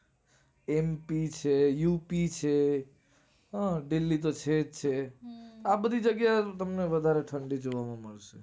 mp છે up છે દિલ્હી તો છે જ છેલ્લે. આ બધી જગ્યા માં તમને વધારે ઠંડી જોવા માં મળશે.